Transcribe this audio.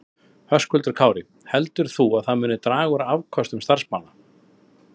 Höskuldur Kári: Heldur þú að það muni draga úr afköstum starfsmanna?